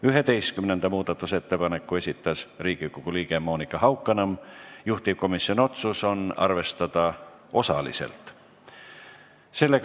Üheteistkümnenda muudatusettepaneku on esitanud Riigikogu liige Monika Haukanõmm, juhtivkomisjoni otsus on arvestada osaliselt.